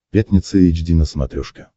пятница эйч ди на смотрешке